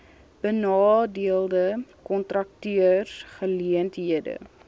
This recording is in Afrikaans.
benadeelde kontrakteurs geleenthede